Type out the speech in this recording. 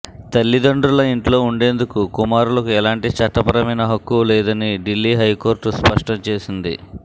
తల్లిదండ్రుల ఇంట్లో ఉండేందుకు కుమారులకు ఎలాంటి చట్టపరమైన హక్కూ లేదని ఢిల్లీ హైకోర్టు స్పష్టం చేసింది